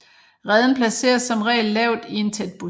Reden placeres som regel lavt i en tæt busk